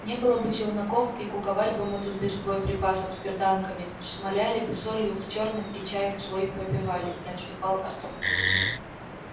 не было бы челноков и куковали бы мы тут без боеприпасов с берданками шмаляли бы солью в чёрных и чаек свой попивали не отступал артём